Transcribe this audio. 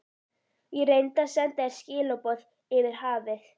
Ég reyndi að senda þér skilaboð yfir hafið.